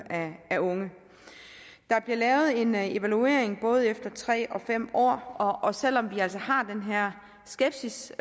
af unge der bliver lavet en evaluering både efter tre år og fem år og selv om vi altså har den her skepsis